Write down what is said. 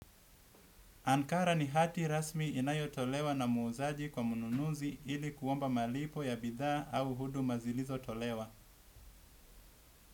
Ankara ni hati rasmi inayo tolewa na muuzaji kwa mnunuzi ili kuomba malipo ya bidhaa au huduma zilizo tolewa.